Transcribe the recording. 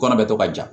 Kɔnɔ bɛ to ka ja